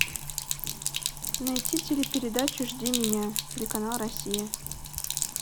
найти телепередачу жди меня телеканал россия